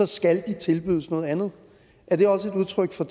skal så tilbydes noget andet er det også et udtryk for